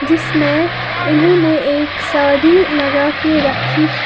जिसमें इन्होंने एक साड़ी लगा के रखी है।